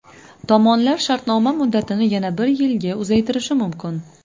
Tomonlar shartnoma muddatini yana bir yilga uzaytirishi mumkin.